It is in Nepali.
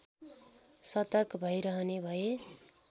सतर्क भइरहने भए